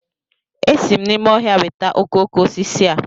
Esi m n'ime ọhịa weta okoko osisi a